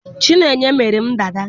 Chineye mere m dada